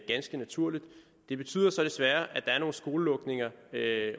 ganske naturligt det betyder så desværre at der er nogle skolelukninger